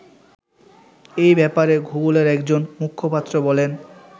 এ ব্যাপারে গুগলের একজন মুখপাত্র বলেন